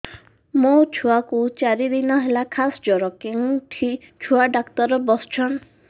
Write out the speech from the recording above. ମୋ ଛୁଆ କୁ ଚାରି ଦିନ ହେଲା ଖାସ ଜର କେଉଁଠି ଛୁଆ ଡାକ୍ତର ଵସ୍ଛନ୍